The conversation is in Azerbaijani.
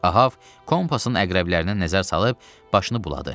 Ahab kompasın əqrəblərinə nəzər salıb, başını buladı.